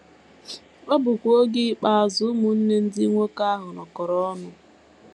Ọ bụkwa oge ikpeazụ ụmụnne ndị nwoke ahụ nọkọrọ ọnụ.